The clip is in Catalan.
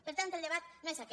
per tant el debat no és aquest